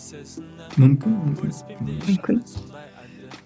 мүмкін мүмкін мүмкін